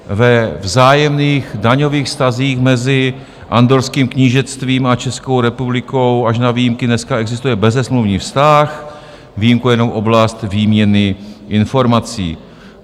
Ve vzájemných daňových vztazích mezi Andorrským knížectvím a Českou republikou až na výjimky dneska existuje bezesmluvní vztah, výjimkou je jenom oblast výměny informací.